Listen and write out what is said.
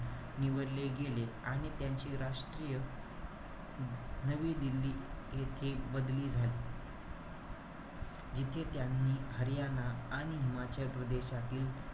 निवडले गेले. आणि त्यांचे राष्ट्रीय नवी दिल्ली येथे बदली झाली. जिथे त्यांनी हरियाणा आणि हिमाचल प्रदेशातील,